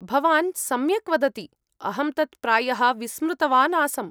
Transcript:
-भवान् सम्यक् वदति, अहं तत् प्रायः विस्मृतवान् आसम्।